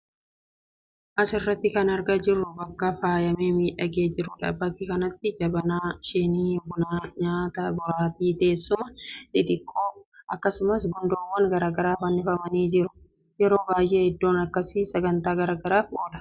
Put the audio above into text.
As irratti kan argaa jirru bakka faayamee miidhagee jiruu dha. Bakka kanatti jabanaa, shiinii bunaa, nyaata, boraatii, teessuma xixiqqoo (dukkaa) akkasumas gundooowwan garaagaraa fannifamanii jiru. yeroo baay'ee iddoon akkasii sagantaa garaagaraaf oola.